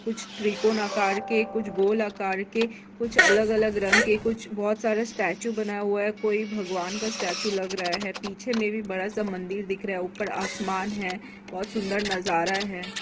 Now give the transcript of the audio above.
कुछ त्रिकोण आकार के कुछ गोल अकार के कुछ अलग-अलग रंग के कुछ बहोत सारे स्टेचू बना हुआ है कोई भगवान का स्टेचू दिख रहा है पीछे में भी बड़ा सा मंदिर दिख रहा है ऊपर आसमान है बहोत सुन्दर नज़ारा है।